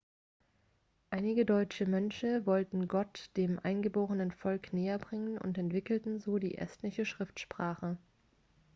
einige deutsche mönche wollten gott dem eingeborenen volk näherbringen und entwickelten so die estnische schriftsprache